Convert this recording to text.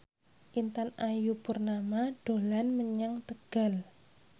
Intan Ayu Purnama dolan menyang Tegal